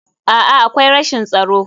A'a, akwai rashin tsaro.